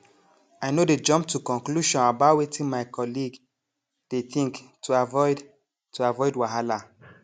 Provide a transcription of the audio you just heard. i no dey jump to conclusion about wetin my colleague dey think to avoid to avoid wahala